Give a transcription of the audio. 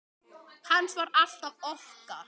Hans var alltaf okkar.